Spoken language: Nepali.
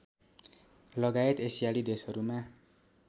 लगायत एसियाली देशहरूमा